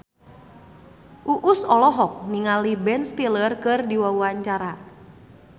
Uus olohok ningali Ben Stiller keur diwawancara